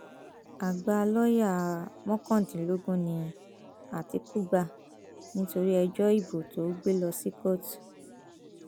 àgbà lọọyà mọkàndínlógún ni àtìkú gbà nítorí ẹjọ ìbò tó gbé lọ sí kóòtù